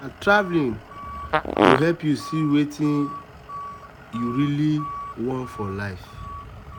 sometimes na travel go help you see wetin you really you really want for life.